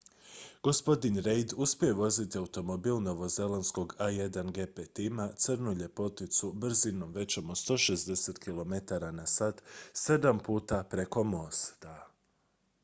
gospodin reid uspio je voziti automobil novozelandskog a1gp tima crnu ljepoticu brzinom većom od 160 km/h sedam puta preko mosta